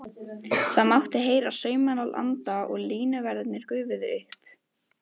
Það mátti heyra saumnál anda og línuverðirnir gufuðu upp.